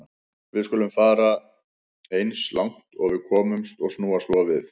Við skulum bara fara eins langt og við komumst og snúa svo við.